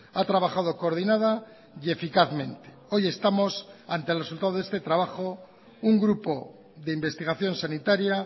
ha trabajado coordinada y eficazmente hoy estamos ante el resultado de este trabajo un grupo de investigación sanitaria